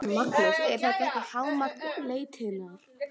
Magnús: Er þetta ekki hámark letinnar?